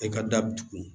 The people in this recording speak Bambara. E ka da bi dugu